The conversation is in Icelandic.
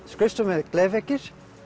skrifstofurnar með glerveggjum